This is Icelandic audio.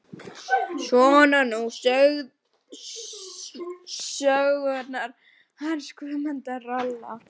Svona voru nú sögurnar hans Guðmundar ralla.